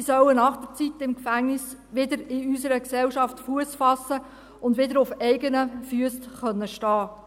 Sie sollen nach der Zeit im Gefängnis wieder in unserer Gesellschaft Fuss fassen und wieder auf eigenen Füssen stehen können.